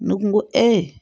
Ne kun ko ko